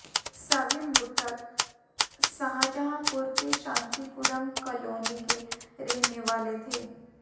सभी मृतक शाहजहांपुर के शांतिपुरम कालोनी के रहने वाले थे